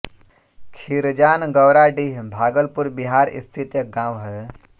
खीरजान गौराडीह भागलपुर बिहार स्थित एक गाँव है